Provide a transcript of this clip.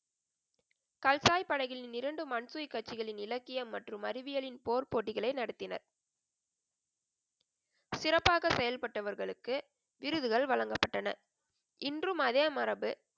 கல்சாய் படைகளின் இரண்டு மன்சுயி கட்சிகளின் இலக்கியம் மற்றும் அறிவியலின் போர் போட்டிகளை நடத்தினர். சிறப்பாக செயல்பட்டவர்களுக்கு விருதுகள் வழங்கப்பட்டன. இன்றும் அதே மரபு,